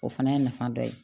O fana y'a nafa dɔ ye